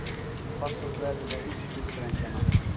Hvassast verður við austurströndina